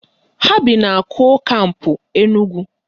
Ha bi na kol kampụ Enugwu